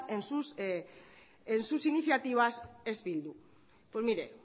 en sus iniciativas es bildu pues mire